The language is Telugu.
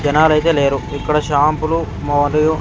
జనాలైతే లేరు ఇక్కడ షాంపూ లు మరియు--